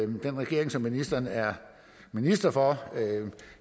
den regering som ministeren er minister for